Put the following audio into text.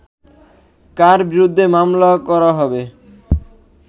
কার বিরুদ্ধে মামলা করা হবে